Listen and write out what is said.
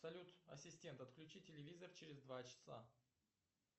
салют ассистент отключи телевизор через два часа